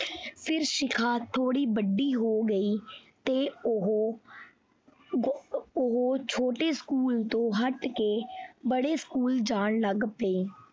ਫਿਰ ਸ਼ਿਖਾ ਥੋੜੀ ਵੱਡੀ ਹੋ ਗਈ ਫਿਰ ਉਹ ਉਹ ਛੋਟੇ school ਤੋਂ ਹੱਟ ਕੇ ਵੱਡੇ school ਜਾਣ ਲੱਗ ਪਈ।